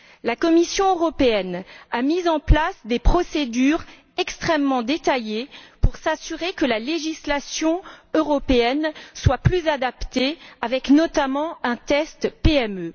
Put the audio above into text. La Commission européenne a mis en place des procédures extrêmement détaillées pour s'assurer que la législation européenne soit plus adaptée avec notamment un test PME.